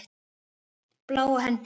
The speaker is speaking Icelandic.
Bláa höndin.